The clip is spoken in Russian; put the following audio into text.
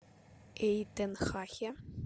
эйтенхахе